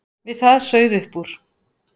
Við það sauð upp úr.